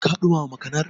Ka ɗumama makanar?